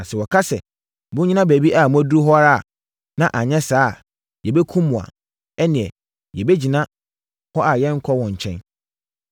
Na sɛ wɔka sɛ, ‘Monnyina baabi a moaduru hɔ ara na anyɛ saa a, yɛbɛkum mo’ a, ɛnneɛ, yɛbɛgyina a yɛrenkɔ wɔn nkyɛn.